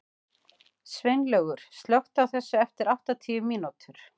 Sveinlaugur, slökktu á þessu eftir áttatíu mínútur.